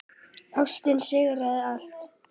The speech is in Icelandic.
Ástin sigrar allt.